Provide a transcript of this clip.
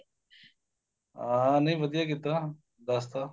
ਹਾਂ ਨੀਂ ਵਧੀਆ ਕੀਤਾ ਦੱਸ ਤਾਂ